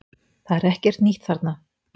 Það er ekkert nýtt þarna